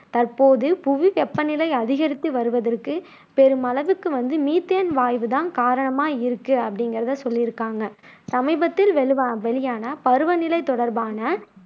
தற்போது புவி வெப்ப நிலை அதிகரித்து வருவதற்கு பெருமளவுக்கு வந்து மீத்தேன் வாய்வு தான் காரணமா இருக்கு அப்படிங்குறதை சொல்லியிருக்காங்க சமீபத்தில் வெளிவா வெளியான பருவநிலை தொடர்பான